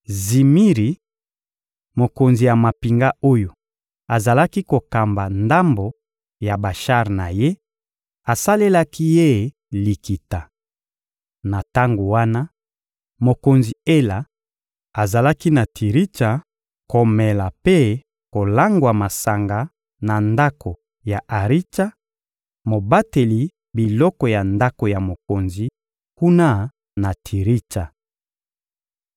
Zimiri, mokonzi ya mampinga oyo azalaki kokamba ndambo ya bashar na ye, asalelaki ye likita. Na tango wana, mokonzi Ela azalaki na Tiritsa komela mpe kolangwa masanga na ndako ya Aritsa, mobateli biloko ya ndako ya mokonzi, kuna na Tiritsa.